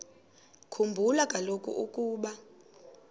khumbula kaloku ukuba